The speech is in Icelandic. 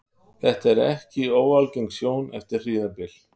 Þetta er ekki óalgeng sjón eftir hríðarbyl.